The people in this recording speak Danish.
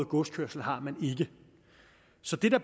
godskørsel så det der